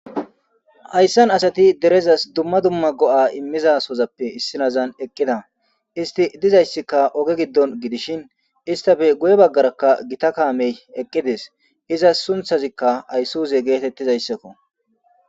Hayssan asati derezas dumma dumma go7a immizasozappe issinazan eqqida isti dizayssikka oge giddon gidishin istafe guye baggarakka gita kaamey eqqidees iza sunthazikka ayssoze geetettizayssakko.